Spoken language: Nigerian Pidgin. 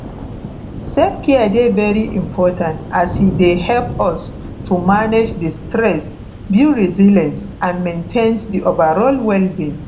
selfcare dey very important as e dey help us to manage di stress build resilience and maintain di overall wellbeing